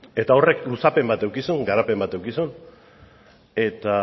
eta horrek luzapen bat eduki zuen garapen bat eduki zuen eta